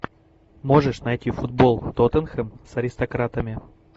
можешь найти футбол тоттенхэм с аристократами